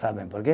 Sabem por quê?